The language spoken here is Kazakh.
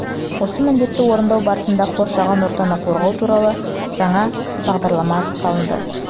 осы міндетті орындау барысында қоршаған ортаны қорғау туралы жаңа бағдарлама жасалынды